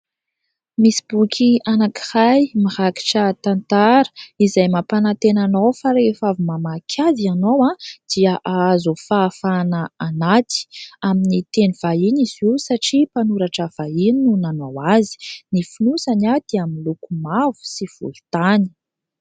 Misy boky anakiray mirakitra tantara izay mampanatena anao fa rehefa avy mamaky azy ianao dia ahazo fahafana anaty. Amin'ny teny vahiny izy io satria mpanoratra vahiny no nanao azy, ny fonosany dia miloko mavo sy volon-tany.